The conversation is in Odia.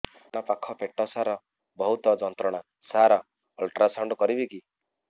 ଡାହାଣ ପାଖ ପେଟ ସାର ବହୁତ ଯନ୍ତ୍ରଣା ସାର ଅଲଟ୍ରାସାଉଣ୍ଡ କରିବି କି